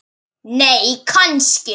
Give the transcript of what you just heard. nei kannski